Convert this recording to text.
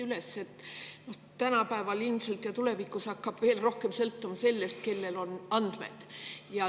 Tänapäeval ilmselt ja tulevikus hakkab veel rohkem sõltuma sellest, kellel on andmed.